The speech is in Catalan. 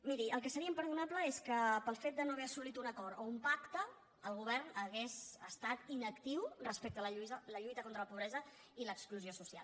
miri el que seria imperdonable és que pel fet de no haver assolit un acord o un pacte el govern hagués estat inactiu respecte a la lluita contra la pobresa i l’exclusió social